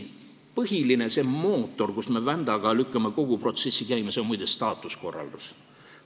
See põhiline mootor, mis vändaga lükkab kogu protsessi käima, on muide staatuskorraldus.